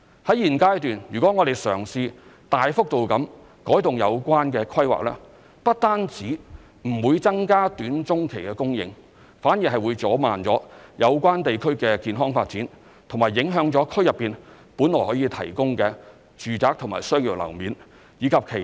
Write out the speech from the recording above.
在現階段，如果我們嘗試大幅度改動有關規劃，不只不會增加短中期供應，反而會阻慢有關地區健康發展和影響區內本來可以提供的住宅和商業樓面，以及其他的社會設施。